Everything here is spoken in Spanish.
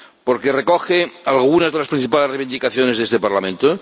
porque recoge algunas de las principales reivindicaciones de este Parlamento